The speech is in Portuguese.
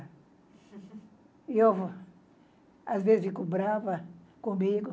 E eu, às vezes, fico brava comigo.